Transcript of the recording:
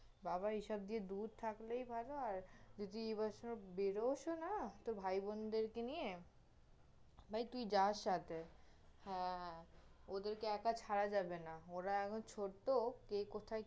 বাবা এসব দিয়ে দুর থাকলেই ভালো, আর যদি এবছর বেরসও না, তর ভাইবোনদেরকে নিয়ে, ভাই তুই যা সাথে, হ্যাঁ, হ্যাঁ, ওদের কে একা ছাড়া যাবে না, ওরা এখন ছোট্টো, কে কোথায়